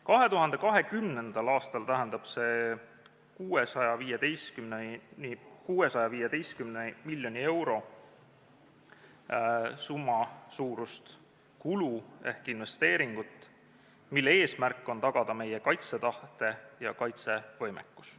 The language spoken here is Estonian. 2020. aastal tähendab see 615 miljoni euro suurust kulu ehk investeeringut, mille eesmärk on tagada meie kaitsetahet ja kaitsevõimekust.